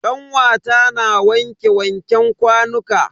Kanwata na wanke wanken kwanuka.